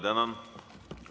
Tänan!